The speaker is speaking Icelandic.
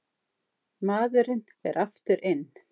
Maðurinn fer aftur inn.